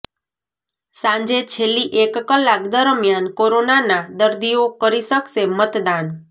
સાંજે છેલ્લી એક કલાક દરમિયાન કોરોનાના દર્દીઓ કરી શકશે મતદાન